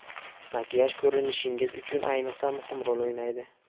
Makiyaj ko‘rinishingiz uchun ayniqsa muhim rol o‘ynaydi.